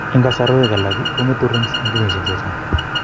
En kasarwet alak, kongetu rings en kenyisiek chechang